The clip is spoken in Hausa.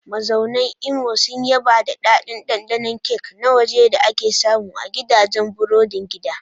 Mazaunan Imo sun yaba da daɗin ɗanɗanon kek na waje da ake samu a gidajen burodin gida.